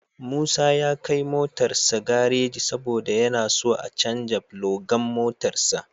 Musa ya kai motarsa gareji saboda yana so a canja filogan motarsa.